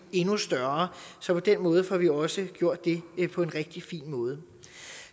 endnu større så på den måde får vi også gjort det på en rigtig fin måde